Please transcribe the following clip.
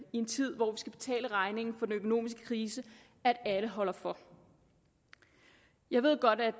en tid hvor vi skal betale regningen for den økonomiske krise at alle holder for jeg ved godt at